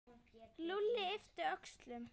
Lúlli yppti öxlum.